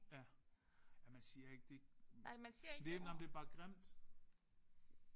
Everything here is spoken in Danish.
Ja ja man siger ikke det det nej men det er bare grimt